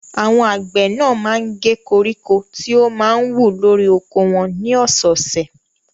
Àwọn àgbẹ̀ náà máa ń gé koríko tí ó máa ń wù lórí oko wọn ní ọ̀sẹ̀ẹ̀sẹ̀.